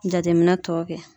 Jateminɛ tɔw kɛ.